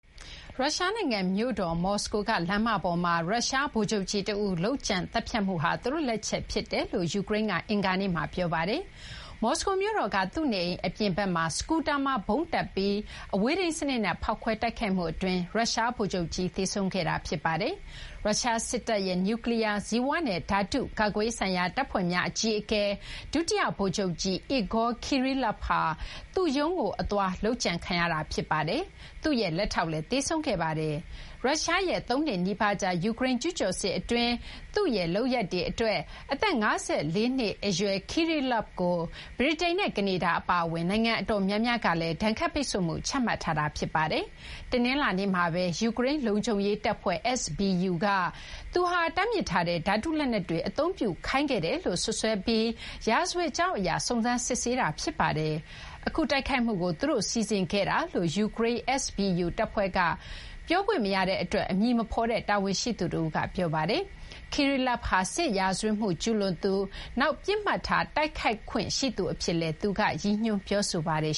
ရုရှား နိုင်ငံ မြို့တော် မော်စကိုက လမ်းမပေါ်မှာ ရုရှား ဗိုလ်ချုပ်ကြီး တဦး လုပ်ကြံသတ်ဖြတ်မှုဟာ သူတို့ လက်ချက်ဖြစ်ကြောင်း ယူကရိန်းက အင်္ဂါနေ့မှာ ပြောပါတယ်။ မော်စကိုမြို့တော်က သူ့နေအိမ် အပြင်ဘက်မှာ စကူတာမှာ ဗုံးတပ်ဆင်ပြီး အဝေးထိန်းစနစ်နဲ့ ဖောက်ခွဲ တိုက်ခိုက်မှု အတွင်း ရုရှား ဗိုလ်ချုပ်ကြီး သေဆုံးခဲ့တာ ဖြစ်ပါတယ်။ ရုရှား စစ်တပ်ရဲ့ နျူးကလီးယား၊ ဇီဝနဲ့ ဓာတု ကာကွယ်ရေးဆိုင်ရာ တပ်ဖွဲ့များ အကြီးအကဲ ဒုတိယ ဗိုလ်ချုပ်ကြီး Igor Kirillov ဟာ သူ့ရုံးကို အသွားမှာ လုပ်ကြံခံရတာ ဖြစ်ပါတယ်။ သူ့ရဲ့ လက်ထောက်လည်း သေဆုံးခဲ့ပါတယ်။ ရုရှားရဲ့ သုံးနှစ်နီးပါးကြာ ယူကရိန်း ကျူးကျော်စစ် အတွင်း သူ့လုပ်ရပ်တွေ အတွက် အသက် ၅၄ နှစ် အရွယ် Kirillov ကို ဗြိတိန်နဲ့ ကနေဒါ အပါအဝင် နိုင်ငံ အတော်များများက ဒဏ်ခတ်ပိတ်ဆို့မှု ချမှတ်ထားတာ ဖြစ်ပါတယ်။ တနင်္လာနေ့မှာဘဲ ယူကရိန်း လုံခြုံရေး တပ်ဖွဲ့ SBU က သူဟာ တားမြစ်ထားတဲ့ ဓာတု လက်နက်တွေ အသုံးပြုခိုင်းခဲ့တယ်လို့ စွပ်စွဲပြီး ရာဇဝတ်ကြောင်း အရ စုံစမ်းစစ်ဆေးနေတာ ဖြစ်ပါတယ်။ အခု တိုက်ခိုက်မှုကို သူတို့ စီစဉ်ခဲ့တာ ဖြစ်ကြောင်း ယူကရိန်း SBU တပ်ဖွဲ့က ပြောခွင့်မရတဲ့ အတွက် အမည် မဖော်တဲ့ တာဝန်ရှိသူ တဦးက ပြောပါတယ်။ Kirillov ဟာ စစ်ရာဝတ်မှု ကျူးလွန်သူ၊ နောက် ပစ်မှတ်ထား တိုက်ခိုက်ခွင့် ရှိသူအဖြစ်လည်း သူက ရည်ညွန်း ပြောဆိုပါတယ်